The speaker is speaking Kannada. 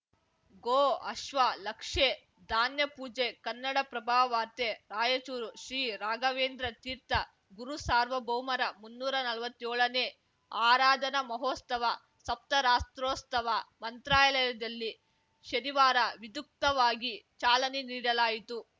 ಗೋಅಶ್ವ ಲಕ್ಷೇ ಧಾನ್ಯ ಪೂಜೆ ಕನ್ನಡಪ್ರಭ ವಾರ್ತೆ ರಾಯಚೂರು ಶ್ರೀ ರಾಘವೇಂದ್ರ ತೀರ್ಥ ಗುರುಸಾರ್ವಭೌಮರ ಮುನ್ನೂರ ನಲ್ವತ್ಯೋಳನೇ ಆರಾಧನಾ ಮಹೋಸ್ತವ ಸಪ್ತರಾತ್ರೋಸ್ತವ ಮಂತ್ರಾಲಯದಲ್ಲಿ ಶನಿವಾರ ವಿದುಕ್ತವಾಗಿ ಚಾಲನೆ ನೀಡಲಾಯಿತು